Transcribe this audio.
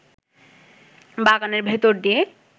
বাগানের ভেতর দিয়ে